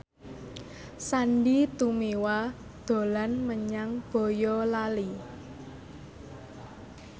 Sandy Tumiwa dolan menyang Boyolali